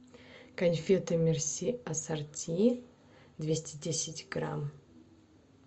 конфеты мерси ассорти двести десять грамм